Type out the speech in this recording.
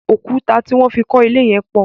Òkúta tí wọ́n fi kọ ilé yẹn pọ̀.